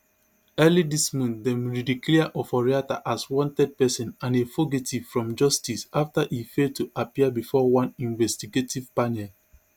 early dis month dem redeclare oforiatta as wanted pesin and a fugitive from justice afta e fail to appear bifor one investigative panel